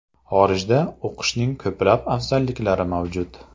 Xorijda o‘qishning ko‘plab afzalliklari mavjud.